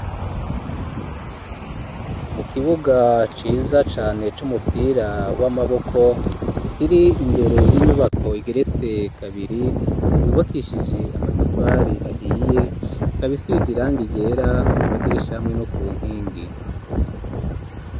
Mu kibuga ciza cane c'umupira w'amaboko kiri imbere y'inyubako igeretse kabiri yubakishije amatafari ahiye ikaba isize iranga igera ku madirisha hamwe no ku nkingi.